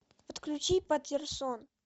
подключи патерсон